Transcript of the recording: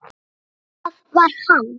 Það var hann.